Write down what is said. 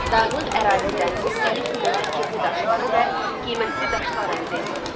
Dağlıq ərazidən müxtəlif növ tikinti daşları və qiymətli daşlar əldə edilirdi.